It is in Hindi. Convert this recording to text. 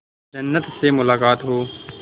जन्नत से मुलाकात हो